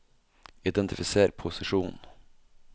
identifiser posisjonen